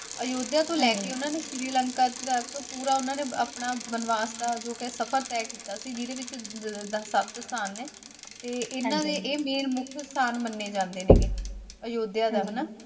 ਅਯੋਧਿਆ ਤੋਂ ਲੈਕੇ ਸ਼੍ਰੀ ਲੰਕਾ ਤੱਕ ਪੂਰਾ ਉਹਨਾਂ ਨੇ ਆਪਣਾ ਵਨਵਾਸ ਦਾ ਜੋ ਸਫ਼ਰ ਤਹਿ ਕੀਤਾ ਸੀ ਜਿਦੇ ਵਿੱਚ ਸੱਤ ਸਥਾਨ ਨੇ ਤੇ ਇਹਨਾਂ ਨੇ ਇਹ main ਮੁਖਿਅ ਸਥਾਨ ਮੰਨੇ ਜਾਂਦੇ ਨੇ ਅਯੋਧਿਆ ਦਾ ਹਨਾ।